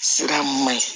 Sira man ɲi